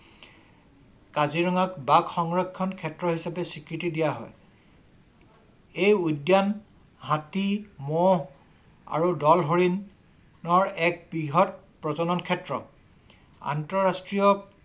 কাজিৰঙাক বাঘ সংৰক্ষণ ক্ষেত্ৰ হিচাপে চিহ্নিত দিয়া হয়। এই উদ্যান হাতী মহ আৰু দল হৰিণ হৰিণৰ এক বৃহৎ প্ৰজননৰ ক্ষেত্ৰ আন্তঃৰাষ্ট্ৰীয়